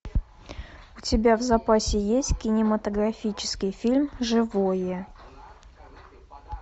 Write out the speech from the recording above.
у тебя в запасе есть кинематографический фильм живое